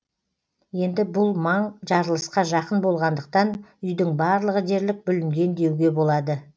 енді бұл маң жарылысқа жақын болғандықтан үйдің барлығы дерлік бүлінген деуге болады